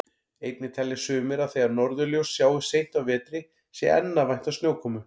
Einnig telja sumir að þegar norðurljós sjáist seint á vetri sé enn að vænta snjókomu.